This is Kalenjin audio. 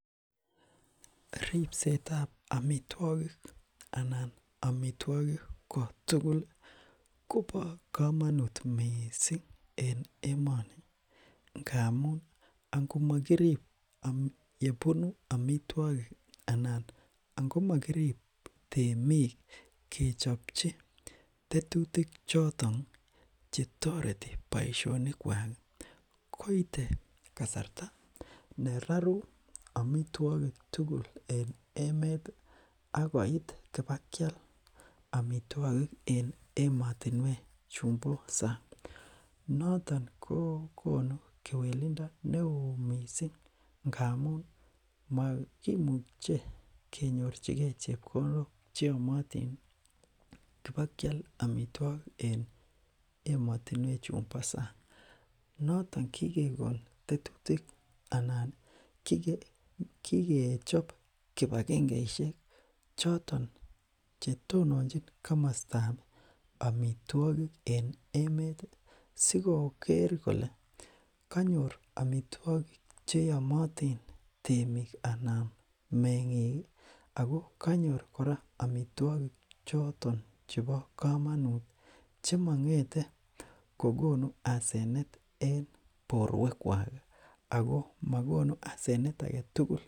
ribsetab amitwokik anan omitwogik kotuguli kobo komonut mising en emoni ngamun ango mokirib yebunu amitwogiki anan angomokirib temik kechopchi tetutichoton chetoreti boishonikwak koite kasarta neroru amitwokik tugul en emeti akoit ibakial amitwogik en emotinwechumbo sang noton kokonu kewelindo neoo mising ngamun mokimuche kenyorchikee chepkondok cheomotini kebokial amitwogik en emotinwechumbo sang noton kikekon tetutik anan kikechop kipagengeishek choton chetononchi komostab amitwogik en emeti sikoker kole kanyor amitwogik cheomotin temik anan mengiki ako kanyor kora amitwogik choton chebo komonut chemongete kokonu asenet en borwekwaki ako mokonu asenet agetugul